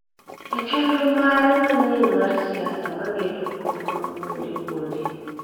E chenro mare manyien mar siasa mageto kweth mag kuonde kuonde,